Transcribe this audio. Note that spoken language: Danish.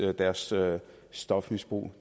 deres stofmisbrug